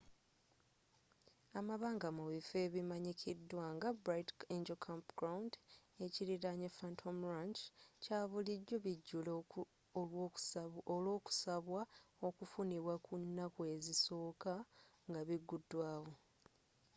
amabanga mu bifo ebimanyikidwa nga bright angel campground ekiriraanye phantom ranch kya bulijjo bijjula olw'okusabwa okufunibwa ku naku ezisooka nga biguddwawo